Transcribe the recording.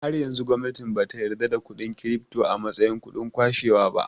Har yanzu gwamnati bata yarda da kuɗin kirifto a mastayin kudin kashewa ba